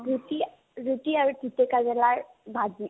ৰুটি ৰুটি আৰু তিতাকেৰেলাৰ ভাজি